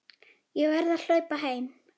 Ég verð að hlaupa heim.